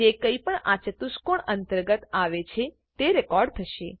જે કઈપણ આ ચતુષ્કોણ અંતર્ગત આવે છે તે રેકોર્ડ થશે